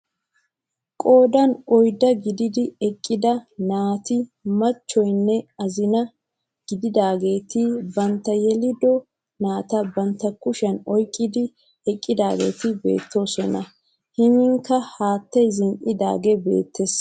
Qoodan oyddaa gididi eqqida naa"ati machchiyonne azinaa gididaageti bantta yelido naata bantta kushshiyaan oyqqidi eqqidaageti beettoosona. miyianikka haattay zin"idagee beettees.